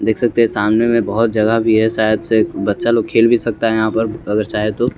देख सकते है सामने में बहुत जगह भी है शायद से बच्चा लोग खेल भी सकता है यहाँ पर अगर चाहे तो।